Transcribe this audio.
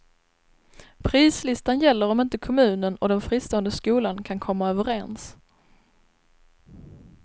Prislistan gäller om inte kommunen och den fristående skolan kan komma överens.